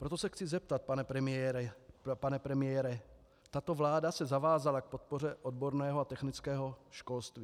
Proto se chci zeptat, pane premiére - tato vláda se zavázala k podpoře odborného a technického školství.